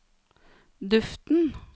duften